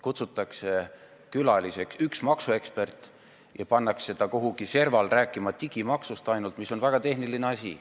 Kutsutakse külaliseks üks maksuekspert ja pannakse ta kuidagi serval rääkima ainult digimaksust, mis on väga tehniline teema.